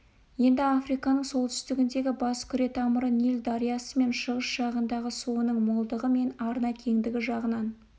енді африканың солтүстігіндегі бас күре тамыры ниль дариясымен шығыс жағындағы суының молдығы мен арна кеңдігі жағынан